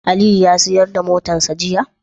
Aliyu ya siyar da motarsa ​​jiya?